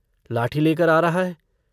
लाठी लेकर आ रहा है।